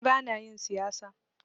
Ni bana yin siyasa.